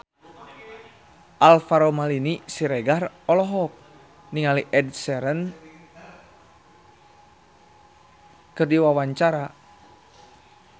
Alvaro Maldini Siregar olohok ningali Ed Sheeran keur diwawancara